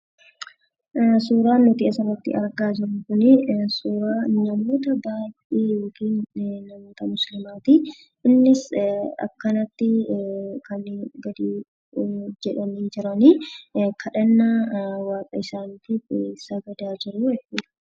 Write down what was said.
Suuraan nuti asirratti argaa jirru kunii, suuraa namoota baayyee yookiin namoota musliimaati. Innis akkanatti kan gad jedhanii jiranii, kadhannaa waaqa isaaniitiif sagadaa jiruu.